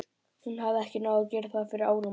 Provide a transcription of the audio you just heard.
Hún hafði ekki náð að gera það fyrir áramótin.